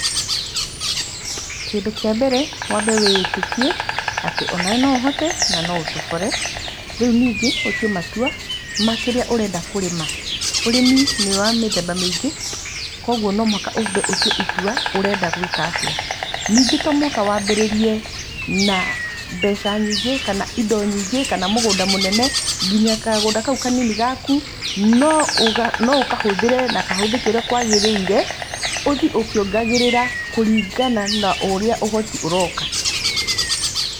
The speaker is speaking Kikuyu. Kĩndũ kĩa mbere wambe wĩĩtĩkie atĩ onawe no ũhote na no ũtobore. Rĩu ningĩ ũtue matua ma kĩrĩa ũrenda kũrĩma, ũrĩmi nĩ wa mĩthemba mĩingĩ, koguo no mũhaka wambe ũtue itua ũrenda gwĩka atĩa. Ningĩ to mũhaka wambĩrĩrie na mbeca nyingĩ kana indo nyingĩ kana mũgũnda mũnene, nginya kagũnda kau kanini gaku no ũkahũthĩre na kahũthĩke ũrĩa kwagĩrĩire, ũthiĩ ũkĩongagĩrĩra kũringana na ũrĩa ũhoti ũroka.